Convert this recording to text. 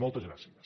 moltes gràcies